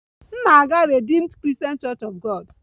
M na-aga Redeemed Christian Church of God